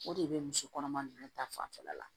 O de bɛ muso kɔnɔma ninnu ta fanfɛla la